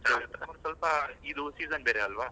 ಚನ್ನಗಿರ್ತೇ ಸ್ವಲ್ಪ ಇದು season ಬೇರೆ ಅಲ್ವ?